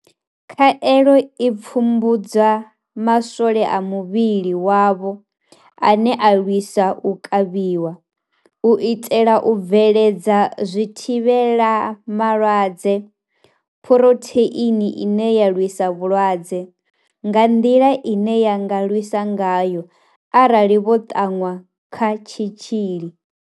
Khaelo i pfumbudza maswole a muvhili wavho ane a lwisa u kavhiwa, u itela u bveledza zwithivhelama malwaadze Phurotheini ine ya lwisa vhulwadze, nga nḓila ine ya nga lwisa ngayo arali vho ṱanwa kha tshitzhili.